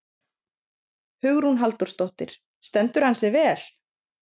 Hugrún Halldórsdóttir: Stendur hann sig vel?